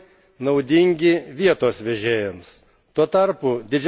Šie pakeitimai naudingi vietos vežėjams.